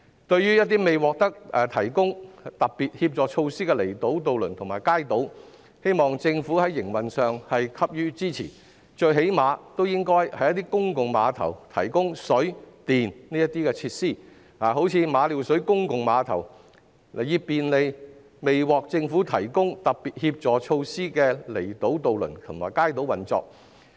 對於一些未獲提供特別協助措施的離島渡輪及街渡，我希望政府能在營運上給予支持，最少限度應該在公共碼頭提供水電設施，例如馬料水公共碼頭，以便利未獲得政府提供特別協助措施的離島渡輪及街渡的運作。